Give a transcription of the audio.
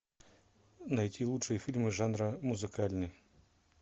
найти лучшие фильмы жанра музыкальный